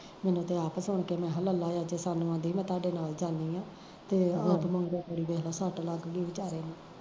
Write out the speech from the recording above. ਮੈਨੂੰ ਤੇ ਆਪ ਸੁਣ ਕੇ ਮੈਂ ਕਿਹਾ ਲੱਲਾ ਚਾਚੀ ਸਾਨੂੰ ਕਹਿੰਦੀ ਸੀ ਮੈਂ ਤੁਹਾਡੇ ਨਾਲ ਜਾਣੀ ਆ, ਤੇ ਆਪ ਸੱਟ ਲੱਗਗੀ ਵਿਚਾਰੇ ਨੂੰ